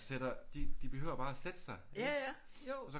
Og sætter de behøver bare at sætte sig ikke og så